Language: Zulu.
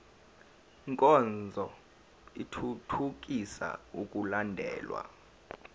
nkonzo ithuthukisa ukulandelwa